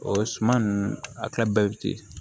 O suman ninnu a ka bɛvti